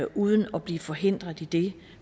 uden at blive forhindret i det